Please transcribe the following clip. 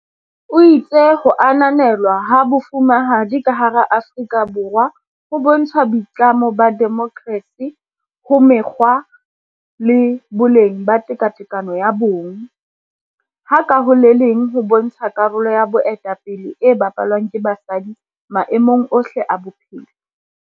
O itse ho ananelwa ha Bo fumahadi ka hara Aforika Borwa ho bontsha boitlamo ba demokersi ho mekgwa le boleng ba tekatekano ya bong, ha ka ho le leng ho bontsha karolo ya boetape le e bapalwang ke basadi maemong ohle a bophelo.